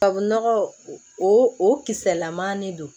Tubabu nɔgɔ o kisɛlaman de don